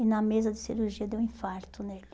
E na mesa de cirurgia deu um infarto nele.